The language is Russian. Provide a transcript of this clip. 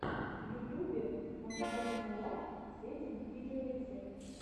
в ютубе мандаринкалав сетин видеорецепт